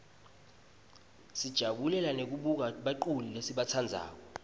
sijabulela nekubona baculi lesibatsandzako